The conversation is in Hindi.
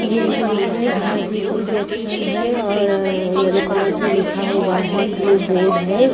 ये जो है हाजीपुर जंक्शन है और येलो कलर से लिखा हुआ है ब्लू बोर्ड है।